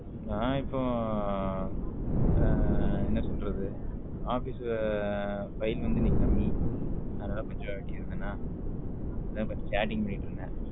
நான் இப்போ என்ன சொல்லுறது office ல file வந்து இன்னிக்கி கம்மி அதுனால கொஞ்சம் அப்பிடி இருந்தேன்ன அதான் கொஞ்சம் chatting பண்ணிட்டு இருந்தேன்.